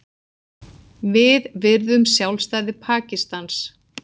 Við virðum sjálfstæði Pakistans